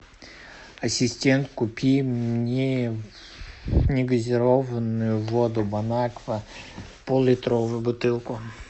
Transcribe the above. ассистент купи мне негазированную воду бонаква поллитровую бутылку